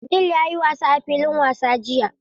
Abdul ya yi wasa a filin wasan jiya.